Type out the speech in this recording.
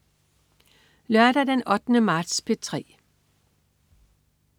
Lørdag den 8. marts - P3: